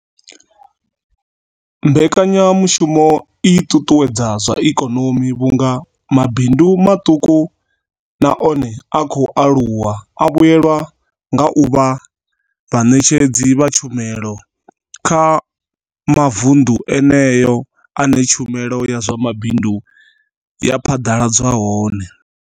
Mbekanyamushumo i ṱuṱuwedza zwa ikonomi vhunga mabindu maṱuku na one a khou aluwa a vhuelwa nga u vha vhaṋetshedzi vha tshumelo kha mavundu eneyo ane tshumelo ya zwa mabindu ya phaḓaladzwa hone.